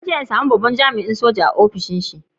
Zan je same babban jami'in sojan yanzu a'ofishin shi.